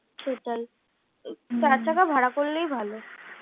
সেটাই চার চাকা ভাড়া করলেই ভালো।